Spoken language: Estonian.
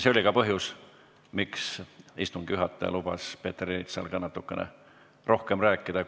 See oli ka põhjus, miks istungi juhataja lubas Peeter Ernitsal lubatust natukene kauem rääkida.